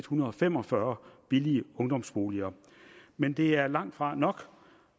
hundrede og fem og fyrre billige ungdomsboliger men det er langtfra nok